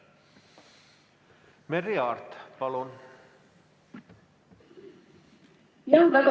Merry Aart, palun!